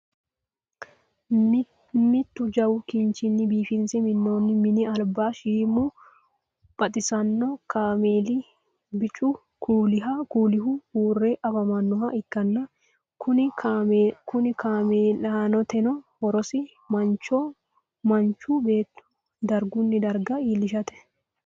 mittu jawu kinchunni biifinse minooni minni alibanishiimu baxisannokameeli biccu kuulihu uure afamanoha ikanna konni kameelitinno horose manchu beeto dargunni darga iilishate.